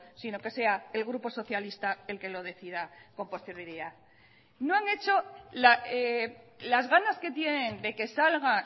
sino que sea el grupo socialista el que lo decida con posterioridad no han hecho las ganas que tienen de que salga